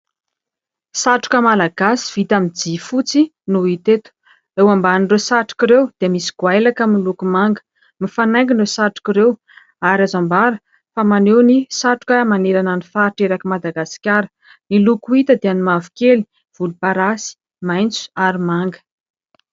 Satroka malagasy vita aminy jia fotsy no hita eto . Eo ambanin'ireo satroka ireo dia misy goailaka miloko manga ; mifanaingina ireo satroka ireo ary azo ambara fa maneho ny satroka manerana ny faritra eraky Madagasikara . Ny loko hita dia : ny mavokely, volomparasy, maintso ary manga .